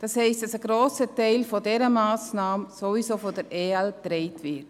Das heisst, dass ein grosser Teil dieser Massnahme sowieso von den Ergänzungsleistungen (EL) getragen würde.